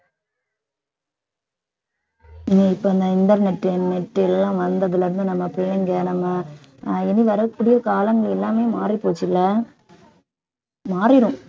னி இப்ப இந்த internet, net எல்லாம் வந்ததுல இருந்து நம்ம பிள்ளைங்க நம்ம ஆஹ் இனி வரக்கூடிய காலங்கள் எல்லாமே மாறிப்போச்சுல்ல மாறிரும்